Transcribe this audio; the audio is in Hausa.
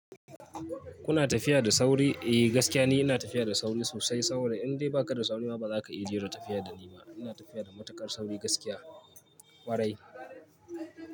Kuna tafiya da sauri? Eh, gaskiya ne ina tafiya da sauri sosai. Sauri indai ba ka da sauri ma ba za ka iya jera tafiya da ni ba. Ina tafiya da matuƙar sauri gaskiya warai.